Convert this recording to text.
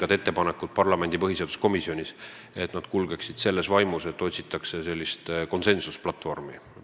Ma pean kindlasti oluliseks, et läbirääkimised kulgeksid sellises vaimus, kus otsitaks konsensusplatvormi.